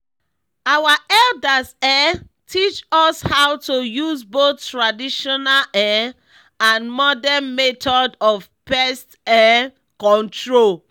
our elders um teach us how to use both traditional um and modern method of pest um control.